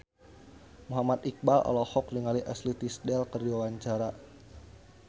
Muhammad Iqbal olohok ningali Ashley Tisdale keur diwawancara